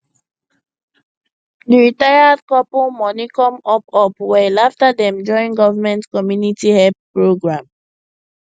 di retired couple money come up up well after dem join government community help program